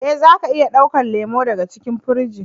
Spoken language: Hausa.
Eh, za ka iya dauko lemu daga cikin firijin.